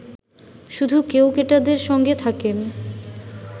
শুধু কেউকেটাদের সঙ্গে থাকেন